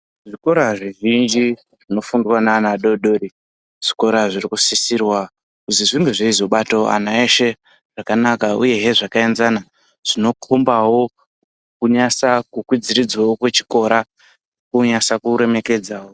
Zvikora zvizhinji zvinofundiwa ngaana adoodori zvikora zviri kudusirwa zvaibatawo ana adoodori eshe zvakanaka uye zvakaenzana zvinokombawo kunyatsokwidziridzawo kwechikora kuremekedzawo